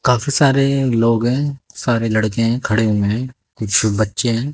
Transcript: काफी सारे लोग हैं सारे लड़के हैं खड़े हुए हैं बच्चे हैं।